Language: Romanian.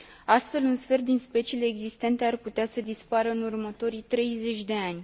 Astfel, un sfert din speciile existente ar putea să dispară în următorii 30 de ani.